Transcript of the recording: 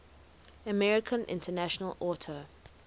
american international auto